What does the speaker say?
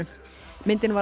myndin var